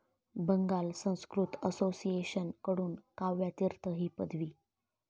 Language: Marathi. बंगाल संस्कृत असोसिएशन कडून काव्य तीर्थ ही पदवी